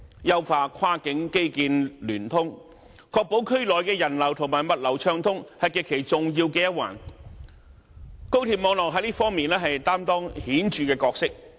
優化跨境基建聯通，確保區內人流和物流暢通，是極其重要的一環，高鐵網絡在這方面擔當顯著的角色。